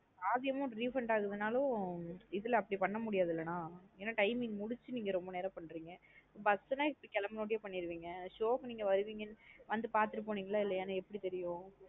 பாதி amount refund அகுதுனாலும் இதுல அப்டி பண்ண முடியாது லா நா எனா timing முடிச்சு ரொம்ப நேரம் பண்றீங்க bus நா. இப்போ கிளம்புனா உடனே பன்னிருவீங்க show க்கு நீங்க வருவீங்கனு வந்து பாத்துட்டு போனீங்களா இல்லையானு எப்டி தெரியும்.